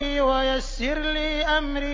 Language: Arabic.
وَيَسِّرْ لِي أَمْرِي